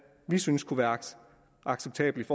vi synes kunne være acceptabelt